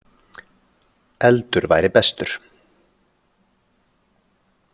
Eldur væri bestur.